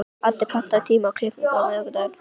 Addi, pantaðu tíma í klippingu á miðvikudaginn.